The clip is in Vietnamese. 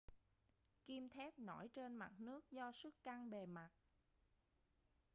kim thép nổi trên mặt nước do sức căng bề mặt